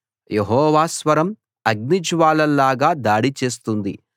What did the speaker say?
యెహోవా స్వరం అగ్నిజ్వాలల్లాగా దాడి చేస్తుంది